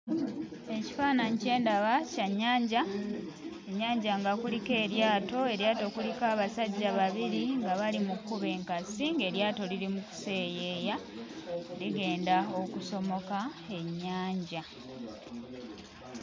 Ekifaananyi kye ndaba kya nnyanja. Ennyanja nga kuliko eryato, eryato kuliko abasajja babiri nga bali mu kkuba enkasi ng'eryato liri mu kuseeyeya, ligenda okusomoka ennyanja.